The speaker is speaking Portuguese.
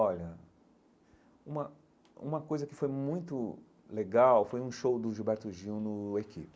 uma uma coisa que foi muito legal foi um show do Gilberto Gil no Equipe.